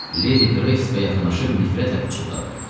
Ledi Qreysə yaxınlaşıb nifrətlə pıçıldadı.